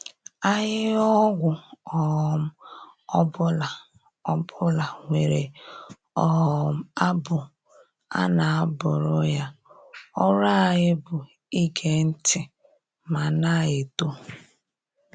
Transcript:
Ahịhịa ọgwụ um ọbụla ọbụla nwere um abụ a na-abụrụ ya, ọrụ anyị bụ ige ntị ma na-eto.